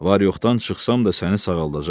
Var-yoxdan çıxsam da səni sağaldacam.